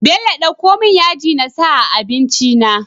Bello dako mun yaji nasa a abinci na